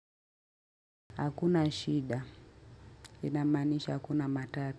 Hakuna shida, inamaanisha hakuna matata.